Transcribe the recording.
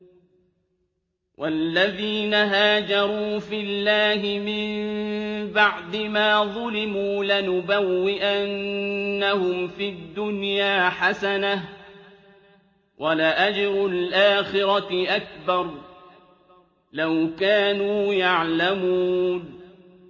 وَالَّذِينَ هَاجَرُوا فِي اللَّهِ مِن بَعْدِ مَا ظُلِمُوا لَنُبَوِّئَنَّهُمْ فِي الدُّنْيَا حَسَنَةً ۖ وَلَأَجْرُ الْآخِرَةِ أَكْبَرُ ۚ لَوْ كَانُوا يَعْلَمُونَ